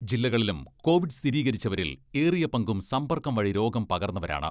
ജില്ലകളിലും കോവിഡ് സ്ഥിരീകരിച്ചവരിൽ ഏറിയ പങ്കും സമ്പർക്കം വഴി രോഗം പകർന്നവരാണ്.